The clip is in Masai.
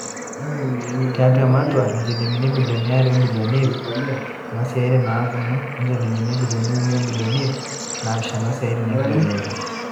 Tiatu ena matua, injilingini ibilioni are o milioni iip are naa noosiatin naanapuno o njilingini ibilioni uni o milioni iip naapishana osiatin enkilepunoto.